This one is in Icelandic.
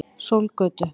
Sólgötu